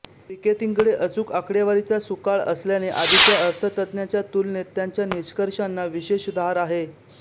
पिकेतींकडे अचूक आकडेवारीचा सुकाळ असल्याने आधीच्या अर्थतज्ञांच्या तुलनेत त्यांच्या निष्कर्षांना विशेष धार आहे